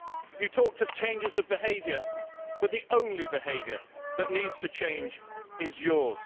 You talked of changes of behaviour, but the only behaviour that needs to change is yours.